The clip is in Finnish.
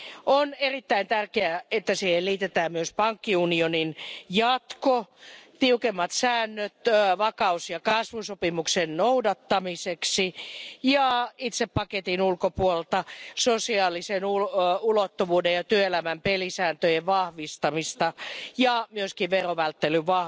On erittäin tärkeää, että siihen liitetään myös pankkiunionin jatko, tiukemmat säännöt vakaus ja kasvusopimuksen noudattamiseksi ja itse paketin ulkopuolelta sosiaalisen ulottuvuuden ja työelämän pelisääntöjen vahvistamista ja myös verovälttelyä,